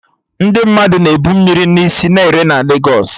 Ndị mmadụ na-ebu mmiri na isi ere na Legos